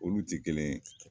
Olu ti kelen ye